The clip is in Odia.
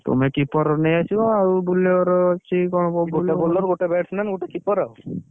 ତୁମେ keeper ନେଇଆସିବ ଆଉ bowler ହଉଛି ।